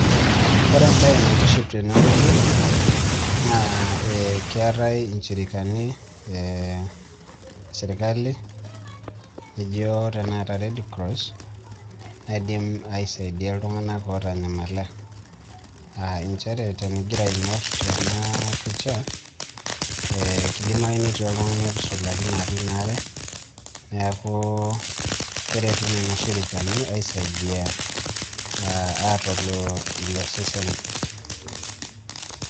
Ore embaye naitiship tenewueji naa keetai inchirikani esirkali nijio tanakata Redcross naidim aisaidia iltung'anak ootanyamala aa nchere tenigira aing'orr tena picha ee kidimayu netii oltung'ani otusulakine atua ina are neeku keretu nena shirikani aisaidia aatolu ilo sesen.